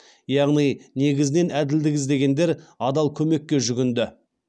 яғни негізінен әділдік іздегендер адал көмекке жүгінді